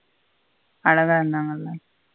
அழகா இருந்தாங்கனு.